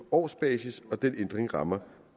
årsbasis og den ændring rammer